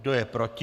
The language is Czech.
Kdo je proti?